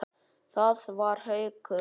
Það var Haukur.